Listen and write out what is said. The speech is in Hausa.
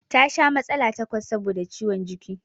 Ta sha matsala takwas saboda ciwon jiki